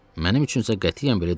Mənim üçün isə qətiyyən belə deyildi.